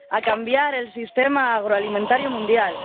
a cambiar el sistema agroalimentario mundial